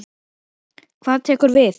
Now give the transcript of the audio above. Hvað tekur við?